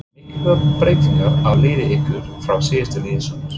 Eru miklar breytingar á liði ykkar frá því síðastliðið sumar?